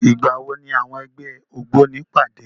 Ìgbàwo ni àwọn ẹgbẹ́ ògbóni pàdé?